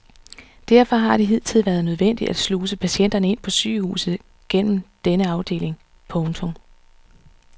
Derfor har det hidtil været nødvendigt at sluse patienterne ind på sygehuset gennem denne afdeling. punktum